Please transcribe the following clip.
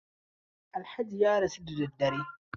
Alhaji ya rasu da dare.